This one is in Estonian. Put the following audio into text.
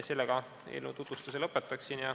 Sellega eelnõu tutvustuse lõpetan.